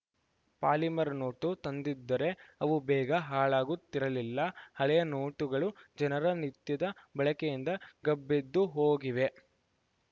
polymer note ತಂದಿದ್ದರೆ ಅವು ಬೇಗ ಹಾಳಾಗುತ್ತಿರಲಿಲ್ಲ ಹಳೆಯ ನೋಟುಗಳೂ ಜನರ ನಿತ್ಯದ ಬಳಕೆಯಿಂದ ಗಬ್ಬೆದ್ದುಹೋಗಿವೆ